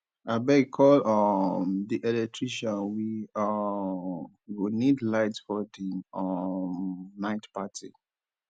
abeg call um the electrician we um go need light for the um night party